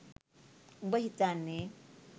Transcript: උඹ හිතන්නේ